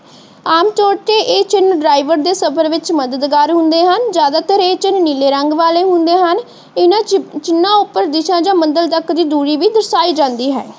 ਆਮ ਤੌਰ ਤੇ ਇਹ ਚਿਹਨ ਦੇ ਸਫ਼ਰ ਵਿੱਚ ਮਦਦਗਾਰ ਹੁੰਦੇ ਹਨ। ਜ਼ਿਆਦਾਤਰ ਇਹ ਚਿਹਨ ਨੀਲੇ ਰੰਗ ਵਾਲੇ ਹੁੰਦੇ ਹਨ। ਇਹਨਾਂ ਚਿਹਨਾ ਉੱਪਰ ਦਿਸ਼ਾ ਜਾਂ ਮੰਜਿਲ ਤੱਕ ਦੀ ਦੂਰੀ ਵੀ ਦਰਸ਼ਾਈ ਜਾਂਦੀ ਹੈ।